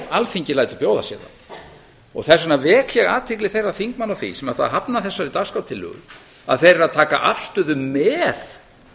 alþingi lætur bjóða sér það þess vegna vek ég athygli þeirra þingmanna á því sem hafna þessari dagskrártillögu að þeir eru að taka afstöðu með